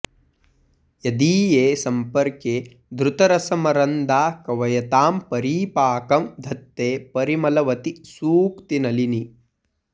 यदीये सम्पर्के धृतरसमरन्दा कवयतां परीपाकं धत्ते परिमलवती सूक्तिनलिनी